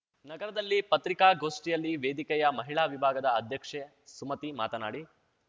ನಗರದಲ್ಲಿ ಪತ್ರಿಕಾಗೋಷ್ಠಿಯಲ್ಲಿ ವೇದಿಕೆಯ ಮಹಿಳಾ ವಿಭಾಗದ ಅಧ್ಯಕ್ಷೆ ಸುಮತಿ ಮಾತನಾಡಿ